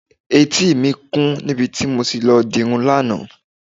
Etí mi kún níbi tí mo ti lọ dirun lánàá.